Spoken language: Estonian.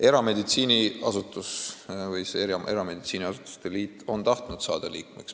Erameditsiiniasutuste liit on tahtnud saada liikmeks.